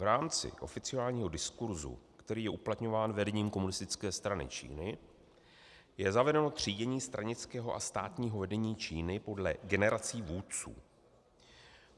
V rámci oficiálního diskurzu, který je uplatňován vedením Komunistické strany Číny, je zavedeno třídění stranického a státního vedení Číny podle generací vůdců.